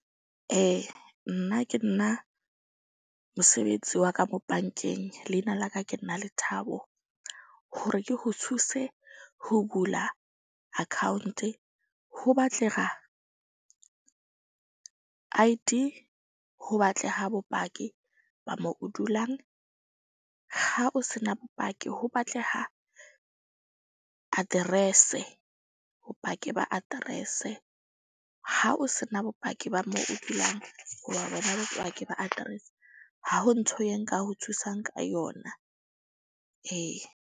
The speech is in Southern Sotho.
Nna ke nna mosebetsi wa ka mo bankeng. Liena la ka, ke nna Lethabo ho re ke ho thuse ho bula account-e ho batlega I_D. Ho batleha bopaki ba mo o dulang. Ha o se na bopaki ho batleha address-e bopaki ba address-e. Ha o se na bopaki ba mo o dulang hoba bona bopaki ba address. Ha ho ntho e nka ho thusang ka yona. Ee.